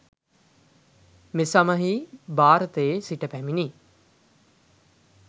මෙසමයෙහි භාරතයේ සිට පැමිණි